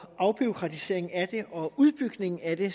afbureaukratisering og udbygning af det